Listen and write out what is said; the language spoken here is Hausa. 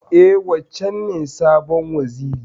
E, wancen ne sabon Wazirin.